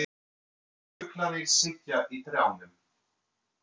Fuglarnir sitja í trjánum.